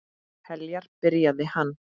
Heljar, byrjaði hann.